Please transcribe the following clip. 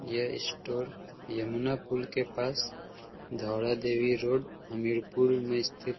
यह स्टोर यमुना पुल के पास दौड़ा देवी रोड हमरीपुर में स्थित --